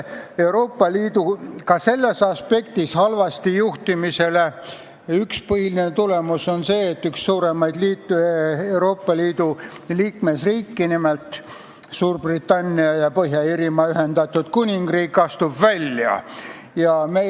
Euroopa Liidu ka selles aspektis halvasti juhtimise tagajärg on see, et üks suuremaid Euroopa Liidu liikmesriike, nimelt Suurbritannia ja Põhja-Iiri Ühendkuningriik, astub liidust välja.